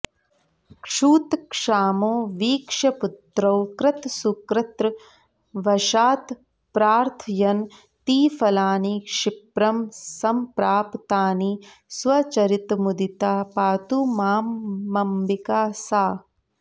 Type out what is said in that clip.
क्षुत्क्षामौ वीक्ष्य पुत्रौ कृतसुकृतवशात्प्रार्थयन्ती फलानि क्षिप्रं संप्राप तानि स्वचरितमुदिता पातु मामम्बिका सा